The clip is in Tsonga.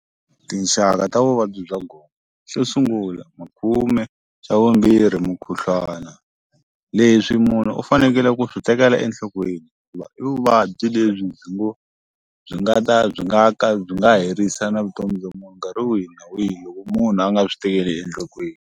Tinxaka ta vuvabyi bya gome xo sungula makhume xa vumbirhi mukhuhlwana leswi munhu u fanekele ku swi tekela enhlokweni i vuvabyi lebyi byi ngo byi nga ta byi nga ka byi nga herisa na vutomi bya munhu nkarhi wihi na wihi loko munhu a nga swi tekeli enhlokweni,